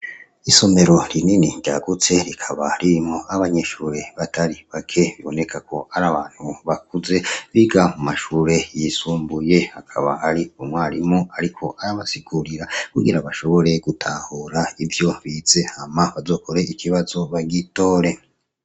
Isomero rinini, ryagutse, rikaba ririmwo n'abanyeshure batari bake, biboneka ko ari abantu bakuze biga mu mashure yisumbuye. Hakaba hari umwarimu ariko arabasigurira kugira bashobore gutahura ivyo bize hama, bazokore ikibazo bagitore.